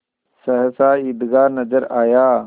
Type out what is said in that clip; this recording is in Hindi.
सहसा ईदगाह नजर आया